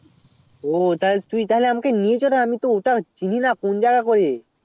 ও তুই তাহলে আমাকে নিয়েচল না ওটা তো আমি চিনি না ওটা কোন জাগা করে